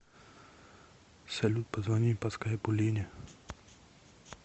салют позвони по скайпу лене